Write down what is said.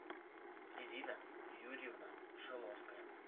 ирина юрьевна шиловская